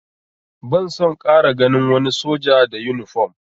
Ban son ƙara ganin wani soja da yunifom!